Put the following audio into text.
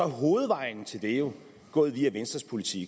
hovedvejen til det jo gået via venstres politik